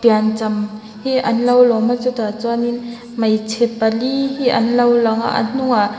piancham hi an lo lawm a chutah chuan in hmeichhe pali hi an lo lang a a hnung ah--